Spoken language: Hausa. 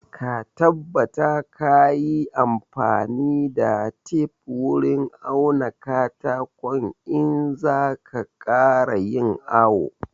Ka tabbata ka yi amfani da tef wurin auna katakon in za ka ƙara yin awo